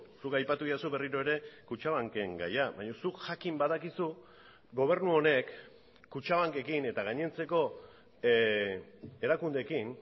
zuk aipatu didazu berriro ere kutxabanken gaia baina zuk jakin badakizu gobernu honek kutxabankekin eta gainontzeko erakundeekin